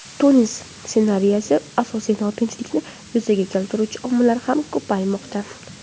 Tunis ssenariysi asosida notinchlikni yuzaga keltiruvchi omillar ham ko‘paymoqda.